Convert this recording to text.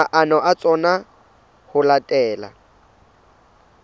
maano a tsona ho latela